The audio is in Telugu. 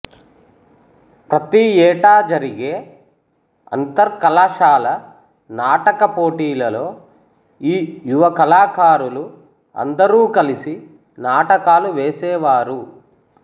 ప్రతి యేటా జరిగే అంతర్ కళాశాల నాటకపోటీలలో ఈ యువకళాకారులు అందరూ కలిసి నాటకాలు వేసేవారు